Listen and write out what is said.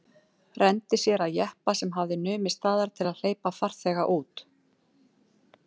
Renndi sér að jeppa sem hafði numið staðar til að hleypa farþega út.